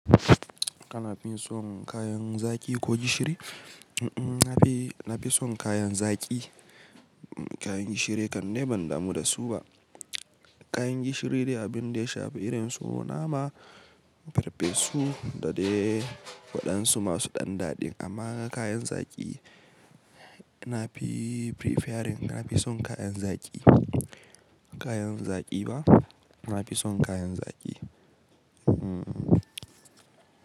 Kana fi son kayan zaki ko gishiri? Mm-mm, na fi, na fi son kayan zaki. Kayan gishiri kan dai ban damu da su ba. Kayan gishiri dai abin da ya shafi irin su nama, farfesu da dai waɗansu masu ɗan daɗi amma kayan zaki, na fi preferring, na fi son kayan zaki. Kayan zaki ba? Na fi son kayan zaki. Hmm.